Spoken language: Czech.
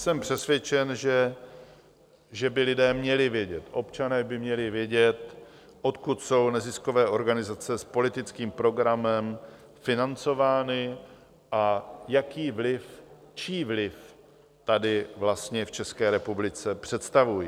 Jsem přesvědčen, že by lidé měli vědět, občané by měli vědět, odkud jsou neziskové organizace s politickým programem financovány a jaký vliv, čí vliv tady vlastně v České republice představují